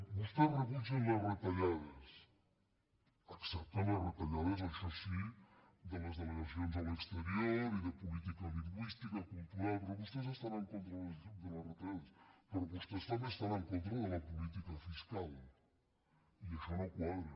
vostès rebutgen les retallades accepten les retallades això sí de les delegacions a l’exterior i de política lingüística cultural però vostès estan en con·tra de les retallades però vostès també estan en contra de la política fiscal i això no quadra